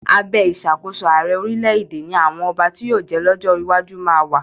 Abẹ́ ìṣàkóso ààrẹ orílẹ̀-èdè ni àwọn ọba tí yóò jẹ́ lọ́jọ́ iwájú máa wà.